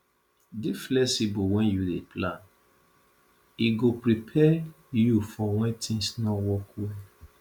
dey flexible when you dey plan e go prepare you for when things no work well